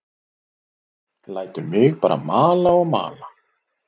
Lætur mig bara mala og mala.